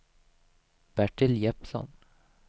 Bertil Jeppsson